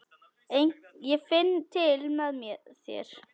Ég finn til með þér.